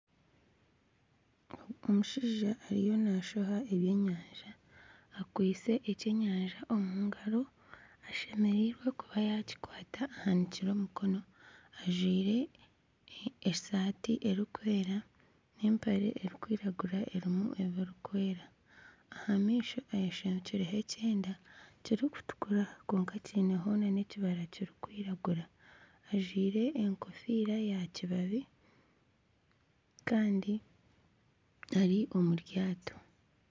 Omushaija ariyo naashoha ebyenyanja, akwitse eky'enyanja omu ngaro, ashemereirwe kuba yaakikwata ahanikire omukono, ajwire esaati erikwera n'empare erikwiragura erimu ebirikwera aha maisho ayeshangiireho ekyenda kirikutukura kwonka kiineho n'ekibara kirikwiragura ajwire enkofiira ya kibabi kandi ari omu ryato